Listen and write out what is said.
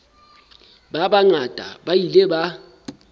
ba bangata ba ile ba